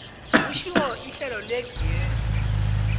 kusitjho ihlelo legear